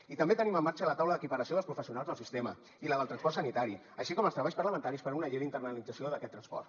i també tenim en marxa la taula d’equiparació dels professionals del sistema i la del transport sanitari així com els treballs parlamentaris per a una llei d’internalització d’aquest transport